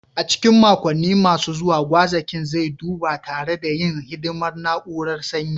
A cikin makonni masu zuwa, gwazakin zai duba tare da yin hidimar na'urar sanyi